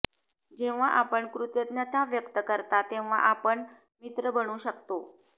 जेव्हा आपण कृतज्ञता व्यक्त करता तेव्हा आपण मित्र बनू शकतो